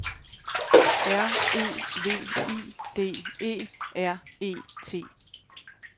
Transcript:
R E V I D E R E T